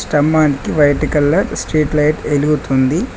స్తంభానికి white colour street light ఎలుగుతుంది.